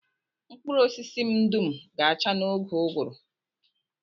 Mkpụrụ osisi m dum ga-acha n'oge ụgụrụ